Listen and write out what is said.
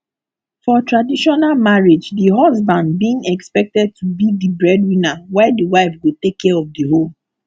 for traditional marriage di husband being expected to be di breadwinner while di wife go take care of di home